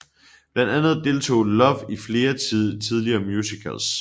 Blandt andet deltog Love i flere tidlige musicals